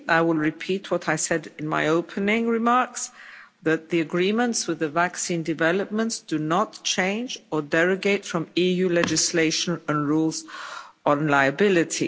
I will repeat what I said in my opening remarks that the agreements with the vaccine developers do not change or derogate from EU legislation and rules on liability.